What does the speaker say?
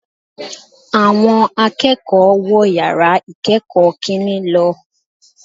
Awọn akẹ́kọ̀ọ́ wọ̀ yàrá ìkẹ́kọ̀ọ́ kìnní lọ